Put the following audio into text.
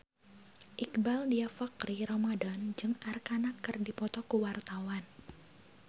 Iqbaal Dhiafakhri Ramadhan jeung Arkarna keur dipoto ku wartawan